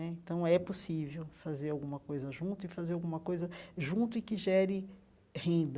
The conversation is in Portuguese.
Então, é possível fazer alguma coisa junto e fazer alguma coisa junto e que gere renda.